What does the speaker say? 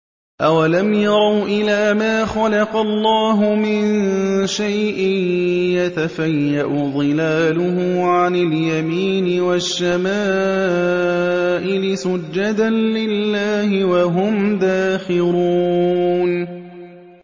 أَوَلَمْ يَرَوْا إِلَىٰ مَا خَلَقَ اللَّهُ مِن شَيْءٍ يَتَفَيَّأُ ظِلَالُهُ عَنِ الْيَمِينِ وَالشَّمَائِلِ سُجَّدًا لِّلَّهِ وَهُمْ دَاخِرُونَ